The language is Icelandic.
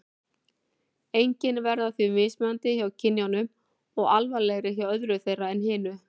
Einkennin verða því mismunandi hjá kynjunum og alvarlegri hjá öðru þeirra en hinu.